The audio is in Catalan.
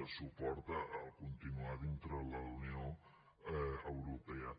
de suport a continuar dintre la unió europea